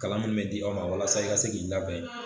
Kalan min bɛ di aw ma walasa i ka se k'i labɛn